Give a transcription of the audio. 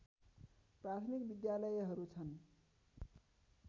प्राथमिक विद्यालयहरू छन्